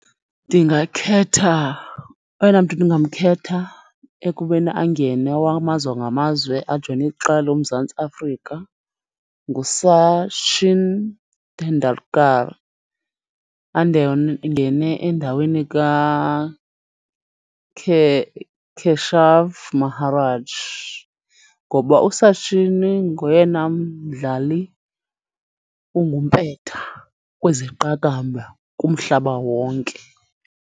Ndingakhetha, oyena mntu ndingamkhetha ekubeni angene wakwamazwe ngamazwe ajoyine iqela loMzantsi Afrika nguSachin Tendulkar. Angene endaweni Keshav Maharaj ngoba uSachin ngoyena mdlali ongumpetha kwezeqakamba kumhlaba wonke.